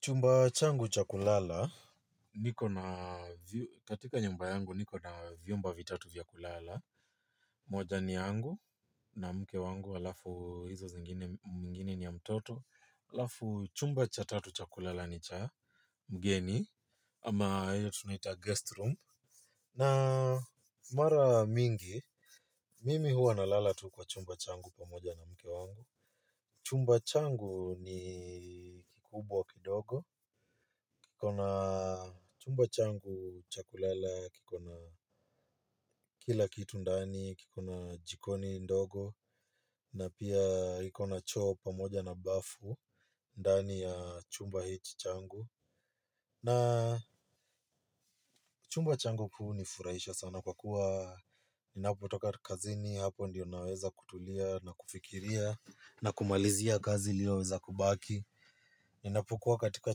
Chumba changu cha kulala. Niko na katika nyumba yangu niko na vyumba vitatu vya kulala. Moja ni yangu na mke wangu alafu hizo zingine nyingine ni ya mtoto. Halafu chumba cha tatu cha kulala ni cha mgeni ama tunaita guest room na mara mingi mimi huwa nalala tu kwa chumba changu na mke wangu chumba changu ni kubwa kidogo. Kikona chumba changu cha kulala, kikona kila kitu ndani, kikona jikoni ndogo, na pia ikona choo pamoja na bafu ndani ya chumba hichi changu. Na chumba changu kuu hunifurahisha sana kwa kuwa ninapotoka kazini hapo ndiyo naweza kutulia na kufikiria na kumalizia kazi iliyo weza kubaki. Ninapukuwa katika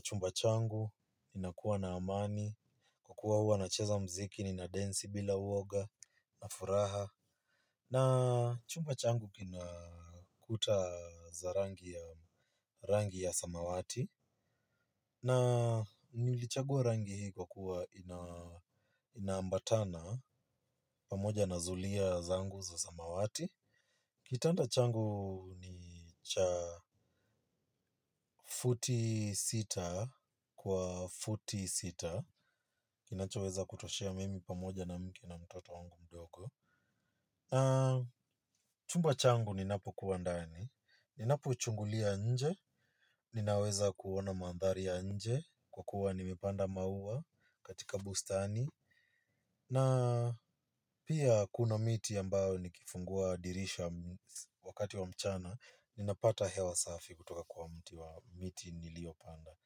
chumba changu, ninakuwa na amani, kukua huwa na cheza mziki, nina densi bila uoga, na furaha. Na chumba changu kina kuta za rangi ya samawati. Na nilichagua rangi hii kwa kuwa inaambatana, pamoja na zulia zangu za samawati. Kitanda changu ni cha futi sita kwa futi sita, kinacho weza kutoshea mimi pamoja na mke na mtoto wangu mdogo. Na chumba changu ninapo kuwa ndani, ninapo chungulia nje, ninaweza kuona mandhari ya nje, kwa kuwa nimepanda maua katika bustani. Na pia kuna miti ya ambayo nikifungua dirisha wakati wa mchana ninapata hewa safi kutoka kwa mti wa miti nilio panda.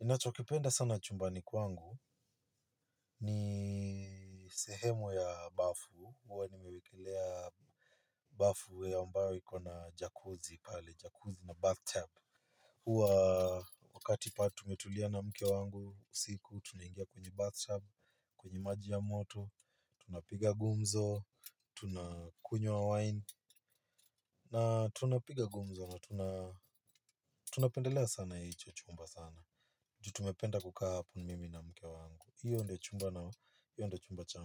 Ninachokipenda sana chumbani kwangu ni sehemu ya bafu huwa nimewekelea bafu ya ambayo iko na jacuzzi pale, jacuzzi na bathtub. Huwa wakati pale tumetulia na mke wangu usiku, tunaingia kwenye bathtub, kwenye maji ya moto tunapiga gumzo, tunakunywa wine na tunapiga gumzo na tunapendelea sana hicho chumba sana juu tumependa kukaa hapo mimi na mke wangu hiyo ndio chumba changu.